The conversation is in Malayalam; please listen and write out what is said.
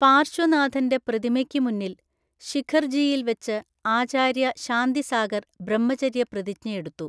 പാർശ്വനാഥന്‍റെ പ്രതിമയ്ക്ക് മുന്നിൽ ശിഖർജിയിൽ വച്ച് ആചാര്യ ശാന്തിസാഗർ ബ്രഹ്മചര്യപ്രതിജ്ഞയെടുത്തു.